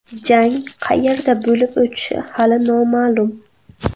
Jang qayerda bo‘lib o‘tishi hali noma’lum.